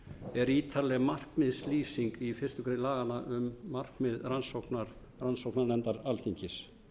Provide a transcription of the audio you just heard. er ítarleg markmiðslýsing í fyrstu grein laganna um markmið rannsóknarnefndar alþingis